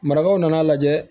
Marakaw nana lajɛ